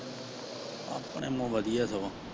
ਆਪਣੇ ਵਧੀਆ ਸਗੋਂ।